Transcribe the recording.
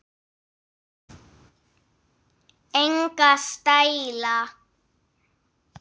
Enga stæla